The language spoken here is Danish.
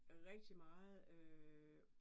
Rigtig meget øh